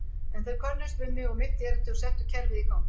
En þeir könnuðust við mig og mitt erindi og settu kerfið í gang.